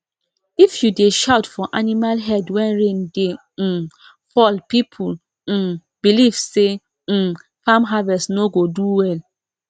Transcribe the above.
if you dey shout for animal head when rain dey um fall people um believe say um farm harvest no go do wel